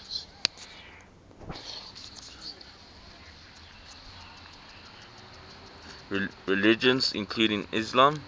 religions including islam